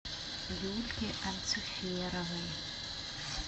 юльке анциферовой